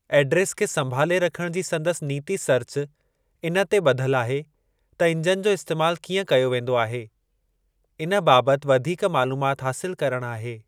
Address खे संभाले रखण जी संदसि नीति सर्च इन ते ब॒धलु आहे त इंजन जो इस्तैमालु कीअं कयो वेंदो आहे, इन बाबति वधीक मालुमात हासिलु करणु आहे।